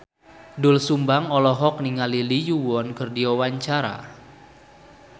Doel Sumbang olohok ningali Lee Yo Won keur diwawancara